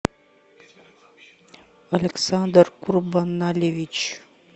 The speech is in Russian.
александр курбанальевич